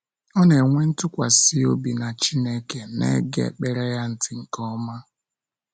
Ọ na-enwe ntụkwasị obi na Chineke na-ege ekpere ya ntị nke ọma.